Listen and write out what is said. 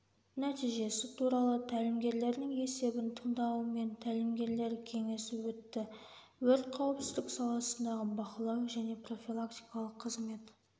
нәтижесі туралы тәлімгерлердің есебін тыңдаумен тәлімгерлер кеңесі өтті өрт қауіпсіздік саласындағы бақылау және профилактикалық қызмет